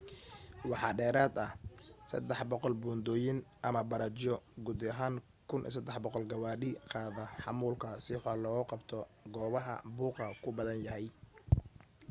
waxaa dheerad ah 300 buundoyin/bariijyo guud ahaan 1,300 gawaadhida qaada xamuulka si wax loogu qabto goobaha buuqa ku badan yahay